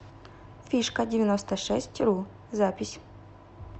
фишкадевяностошестьру запись